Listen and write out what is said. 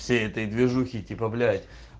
всей этой движухе типа блять